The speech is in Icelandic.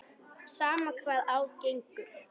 Sama hvað á gengur.